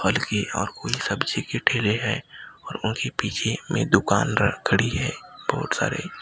फल की और कोई सब्जी के ठेले है और उन्हीं पीछे में दुकान र खड़ी है बहोत सारे --